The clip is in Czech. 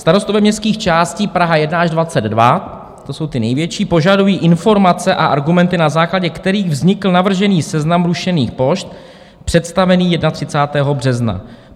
Starostové městských částí Praha 1 až 22 - to jsou ty největší - požadují informace a argumenty, na základě kterých vznikl navržený seznam rušených pošt představený 31. března.